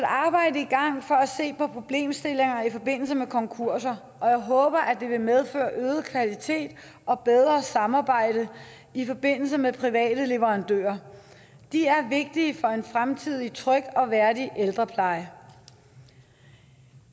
se på problemstillinger i forbindelse med konkurser og jeg håber at det vil medføre øget kvalitet og bedre samarbejde i forbindelse med private leverandører de er vigtige for en fremtidig tryg og værdig ældrepleje